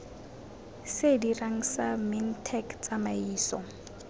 se dirang sa mintech tsamaiso